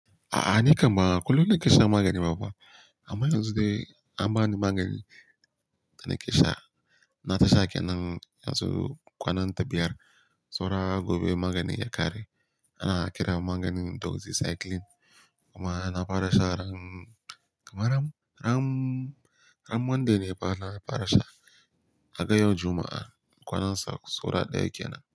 A'a ni kam ba kullum na ke shan magani ba fa. Amma yanzu dai an bani magani da na ke sha. Na ta sha kenan yanzu kwanan ta biyar, saura gobe maganin ya ƙare. Ana kira maganin doxycycline kuma na fara sha ran, kamar ran, ran, ran monday ne fa na fara sha. Ka ga yau Juma'a kwanansa saura ɗaya kenan.